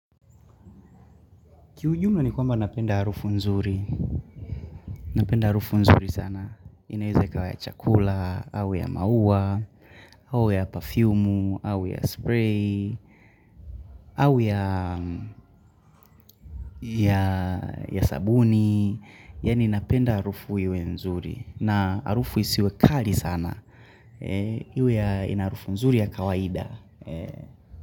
Kiujumla ni kwamba napenda harufu nzuri. Napenda harufu nzuri sana. Inaeza ikawa ya chakula, au ya maua, au ya pafyumu, au ya spray, au ya sabuni. Yaani napenda harufu iwe nzuri. Na harufu isiwe kali sana. Iwe ina harufu nzuri ya kawaida.